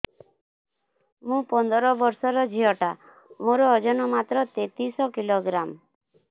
ମୁ ପନ୍ଦର ବର୍ଷ ର ଝିଅ ଟା ମୋର ଓଜନ ମାତ୍ର ତେତିଶ କିଲୋଗ୍ରାମ